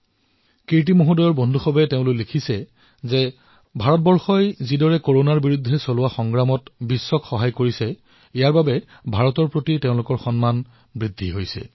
কীৰ্তিজীৰ এগৰাকী বন্ধুৱে লিখিছে যে ভাৰতে যি ধৰণে কৰোনাৰ বিৰুদ্ধে যুদ্ধত বিশ্বক সহায় কৰিছে তাৰ জৰিয়তে তেওঁৰ মনত ভাৰতৰ বাবে সন্মান অধিক বৃদ্ধি হৈছে